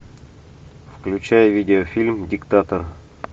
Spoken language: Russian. включай видеофильм диктатор